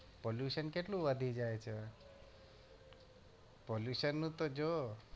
pollution કેટલું વધી જાય છે? pollution નું તો જો.